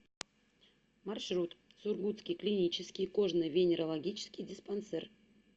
маршрут сургутский клинический кожно венерологический диспансер